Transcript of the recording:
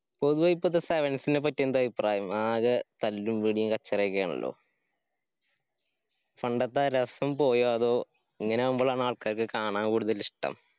ഇപ്പത്തെ sevens നേപ്പറ്റി എന്ത് അഭിപ്രായം ആകെ തല്ലു പിടിയു കച്ചറയൊക്കെ ആണല്ലോ പണ്ടത്തെ ആ രസം പോയോ അതോ ഇങ്ങനെ ആവുമ്പൊ ആണോ ആൾക്കാർക്ക് കാണാൻ കൂടുതൽ ഇഷ്ടം.